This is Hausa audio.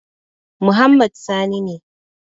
Muhammad Sani ne.